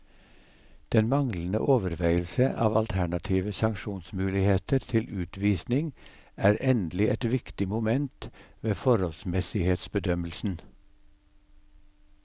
Den manglende overveielse av alternative sanksjonsmuligheter til utvisning er endelig et viktig moment ved forholdsmessighetsbedømmelsen.